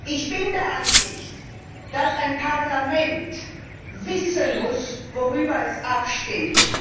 Ich bin der Ansicht, dass ein Parlament wissen muss, worüber es abstimmt.